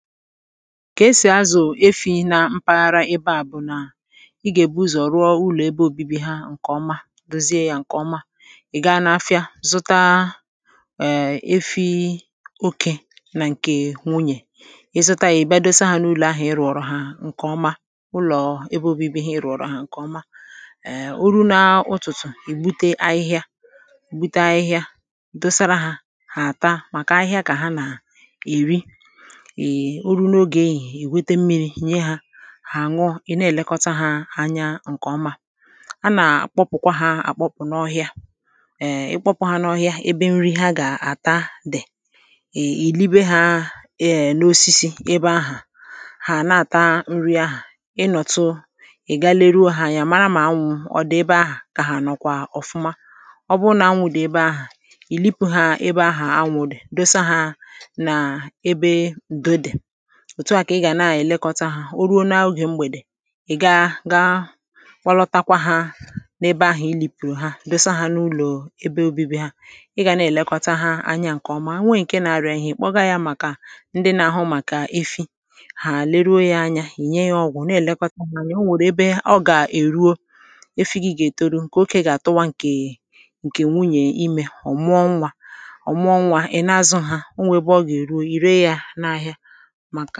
ka esì azụ̀ efi̇ na mpaghara ebe àbụ̀ nà ị gà-èbu ụzọ̀ rụọ ụlọ̀ ebe òbibi ha ǹkèọma dozie ya ǹkèọma ị̀ gaa n’afịa zụta eee efi̇ okė nà ǹkè wunyè ị zụta ị̀ bịa dosa ha n’ụlọ̀ ahụ̀ ị rụ̀ọrọ̀ ha ǹkèọma ụlọ̀ ebe obibi ha ị rụ̀ọrọ̀ ha ǹkèọma eee uru na-utùtù ì bute ahịhịa ùbute ahịhịa dosara hà hà àta màkà ahịhịa kà ha nà èri egwete mmiri̇ hà nye hȧ aṅụ̇ ị̀ na-èlekọta hȧ anya ǹkè ọma a nà-àkpọpụ̀kwa hȧ akpọpụ̀ n’ọhịa èè ị kpọpụ hȧ n’ọhịa ebe nri ha gà-àta dì èè ìlibé hȧ eè n’osisi ebe ahụ̀ hà na-àta nri ahà ịnọ̀tụ ị̀ gaa leruo hȧ anyị à, màrà màa nwụ̀ ọ dị̀ ebe ahà kà hà nọ̀kwa ọfụma ọ bụ nà anwụ̇ dị̀ ebe ahụ̀ ìlipu hȧ ebe ahụ̀ anwụ̇ dì dosa hȧ nà ebe do dì òtù a kà ị gà na-èlekọta hȧ o ruo n’aụgọ̀ mgbèdè ị̀ gaa gaa wakwatakwa ha n’ebe ahụ̀ ịli pụ̀rụ̀ ha besa hȧ n’ụlọ̀ ebe obibi ha ị gà na-èlekọta ha anya ǹkèọma a nwe ǹke na-arụ̇ ahịhịa ị̀ kpọga ya màkà ndị na-àhụ màkà efi hà leruo ya anya ìnye ya ọgwụ̀ na-èlekọta n’anya o nwèrè ebe ọ gà-èruo efi gị gà-ètoru ǹkè oke gà-àtụwa ǹkè wunyè imè ọ̀mụọ nwȧ ọ̀mụọ nwȧ ị̀ na-azụ hȧ o nwè ebe ọ gà-èruo, ì ree ya n’ahịa anà-ọzọ̀